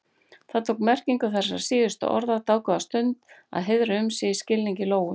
Það tók merkingu þessara síðustu orða dágóða stund að hreiðra um sig í skilningi Lóu.